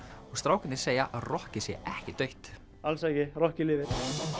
og strákarnir segja að rokkið sé ekki dautt alls ekki rokkið lifir